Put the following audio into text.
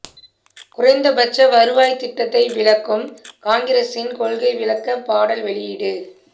குறைந்தபட்ச வருவாய் திட்டத்தை விளக்கும் காங்கிரசின் கொள்கை விளக்க பாடல் வெளியீடு